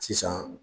Sisan